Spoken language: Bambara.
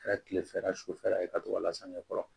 Kɛra kilefɛla sufɛla ye ka t'o lasange kɔrɔ